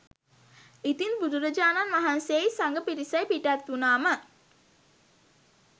ඉතින් බුදුරජාණන් වහන්සේයි සඟ පිරිසයි පිටත්වුණාම